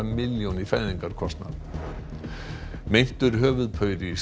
milljón í fæðingarkostnað meintur höfuðpaur í